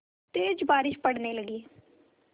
तेज़ बारिश पड़ने लगी